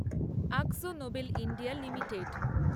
Akzo Nobel India limited